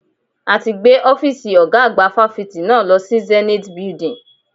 A ti gbé Ọ́fíìsì ọ̀gá àgbà fáfitì náà lọ sí Zenate Building.